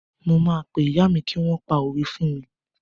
Mo máa pé ìyá mi kí wọ́n pa òwe fún mi.